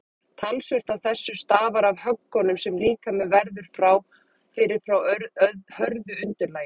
Talsvert af þessu stafar af höggunum sem líkaminn verður fyrir frá hörðu undirlagi.